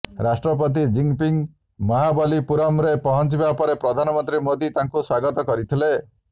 ରାଷ୍ଟ୍ରପତି ଜିନପିଙ୍ଗ ମହାବଲୀପୁରମରେ ପହଞ୍ଚିବା ପରେ ପ୍ରଧାନମନ୍ତ୍ରୀ ମୋଦୀ ତାଙ୍କୁ ସ୍ବାଗତ କରିଥିଲେ